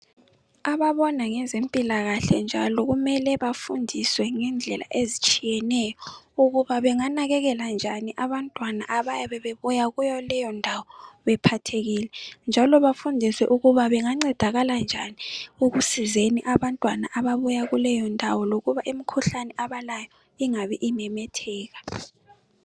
ababona ngezempilakahle njalo kumele bafundiswe ngendlela ezitshiyeneyo ukuba benganakekela njani abantwana abayabe bebuya kuleyo ndawo bephathekile njalo bafundiswe ukuba bengancedakala njani ekusizeni abantwana ababuya kuleyo ndawo lokuba imikhuhlane abalayo ingabe imemetheka